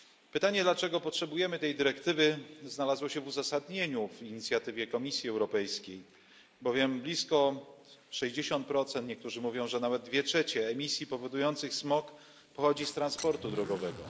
Pytanie dlaczego potrzebujemy tej dyrektywy znalazło się w uzasadnieniu w inicjatywie Komisji Europejskiej, bowiem blisko 60 niektórzy mówią, że nawet dwie trzecie emisji powodujących smog pochodzi z transportu drogowego.